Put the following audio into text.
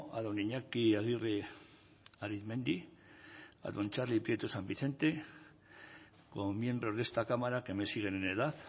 a don iñaki aguirre arizmendi y a don txarli prieto san vicente como miembros de esta cámara que me siguen en edad